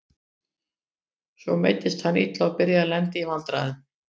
Svo meiddist hann illa og byrjaði að lenda í vandræðum.